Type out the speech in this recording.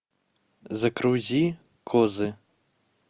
загрузи козы